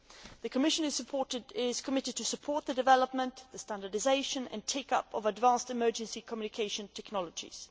The Commission is committed to supporting the development, standardisation and take up of advanced emergency communication technologies.